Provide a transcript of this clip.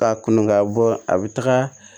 Ka kɔn ka bɔ a bɛ taga